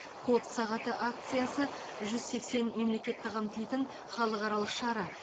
код сағаты акциясы жүз сексен мемлекетті қамтитын халықаралық шара